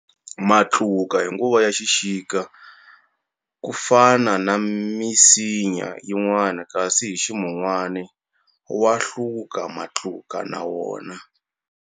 Matluka hi nguva ya xixika ku fana na misinya yinwana kasi hi ximunwana wa hluka matluka na wona.